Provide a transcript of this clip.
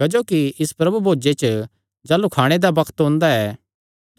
क्जोकि इस प्रभु भोजे च जाह़लू खाणे दा बग्त ओंदा ऐ